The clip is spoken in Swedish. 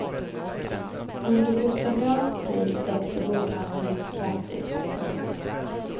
Under gustaviansk tid växer bokhandeln ut kraftigt. punkt